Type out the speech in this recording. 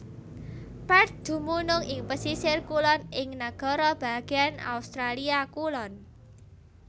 Perth dumunung ing pesisir kulon ing Nagara Bagéan Australia Kulon